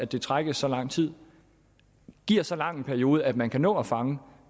det trækkes så lang tid giver så lang en periode at man kan nå at fange